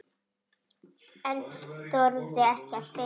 En þorði ekki að spyrja.